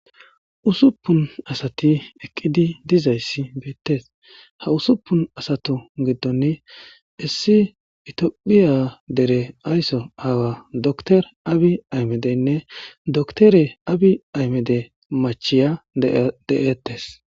usuppun asati eqqidi dizayssi beettes ha usuppun asatu giddonni issi itomophiya dere aysso aawa dotore abi aymedeynne doktore abi aymede machiya de'ettes